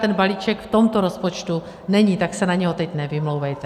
Ten balíček v tomto rozpočtu není, tak se na něj teď nevymlouvejte.